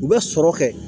U bɛ sɔrɔ kɛ